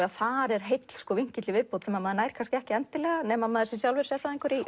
að þar er heill vinkill í viðbót sem maður nær ekki endilega nema maður sé sjálfur sérfræðingur í